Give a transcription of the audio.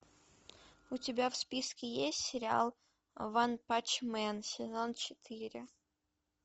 у тебя в списке есть сериал ванпанчмен сезон четыре